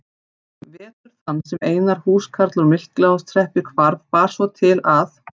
Vetur þann sem Einar húskarl úr Miklaholtshreppi hvarf bar svo til að